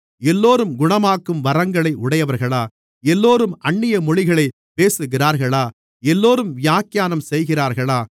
எல்லோரும் குணமாக்கும் வரங்களை உடையவர்களா எல்லோரும் அந்நிய மொழிகளைப் பேசுகிறார்களா எல்லோரும் வியாக்கியானம் செய்கிறார்களா